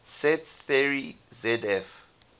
set theory zf